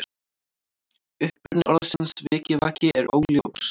Uppruni orðsins vikivaki er óljós.